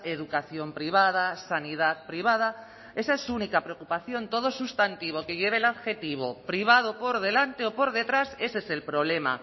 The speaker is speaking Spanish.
educación privada sanidad privada esa es su única preocupación todo sustantivo que lleve el adjetivo privado por delante o por detrás ese es el problema